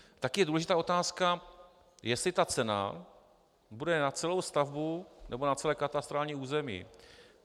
Také je důležitá otázka, jestli ta cena bude na celou stavbu, nebo na celé katastrální území.